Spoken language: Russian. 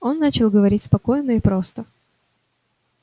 он начал говорить спокойно и просто